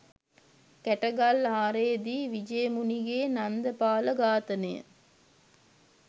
කැටගල්ආරේදී විජයමුණිගේ නන්දපාල ඝාතනය